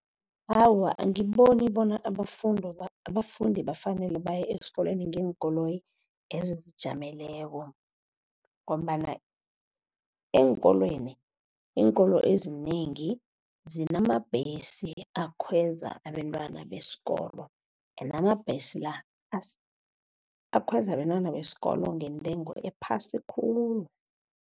Awa, angiboni bona abafundi bafanele baye esikolweni ngeenkoloyi ezizijameleko, ngombana eenkolweni iinkolo ezinengi zinamabhesi akhweza abentwana besikolo. Ende amabhesi la akhweza abentwana besikolo ngentengo ephasi khulu.